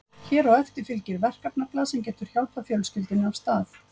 Hér á eftir fylgir verkefnablað sem getur hjálpað fjölskyldunni af stað.